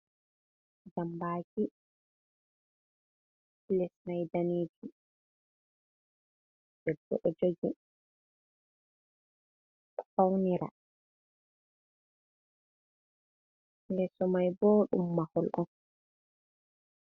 Jambaki, lesmai danijum, debbo ɗoji ɗo faunira yesomai bo ɗum mahol on.